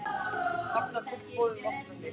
Hafna tilboði um vopnahlé